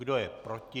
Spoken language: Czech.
Kdo je proti?